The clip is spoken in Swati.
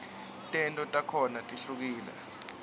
tento takhona tihlukule